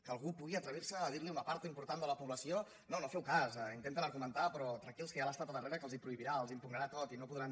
que algú pugui atrevir·se a dir a una part important de la població no no en feu cas ho intenten argumentar però tranquils que hi ha l’estat al darrere que els ho prohibirà els ho im·pugnarà tot i no podran